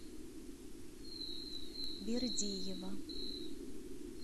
бердиева